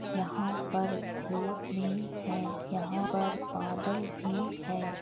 यहाँ पर भी हैं यहाँ पर बादल भी हैं।